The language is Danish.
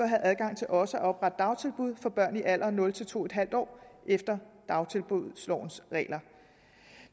have adgang til også at oprette dagtilbud for børn i alderen nul to en halv år efter dagtilbudslovens regler